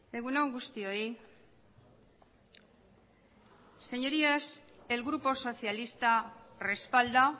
egunon guztioi señorías el grupo socialista respalda